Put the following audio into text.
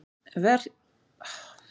Veikleikar og minnisleysi